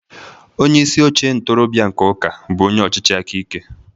Onye isi oche ntorobịa nke ụka bụ onye ọchịchị aka ike.